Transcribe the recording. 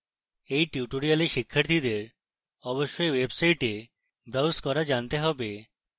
এই tutorial শিক্ষার্থীদের অবশ্যই website browse করা জানতে হবে